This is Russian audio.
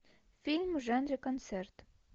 фильм в жанре концерт